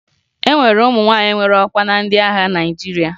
E nwere ụmụ nwaanyị nwere ọkwa na ndị agha Naịjirịa